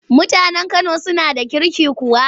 Mutanen Kano suna da kirki kuwa?